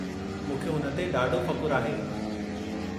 मूंखे हुन ते ॾाढो फ़खु़रु आहे।